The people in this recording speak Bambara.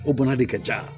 O bana de ka ca